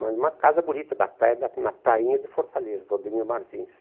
Mas uma casa bonita na praia, na prainha de Fortaleza, do Ademir Martins.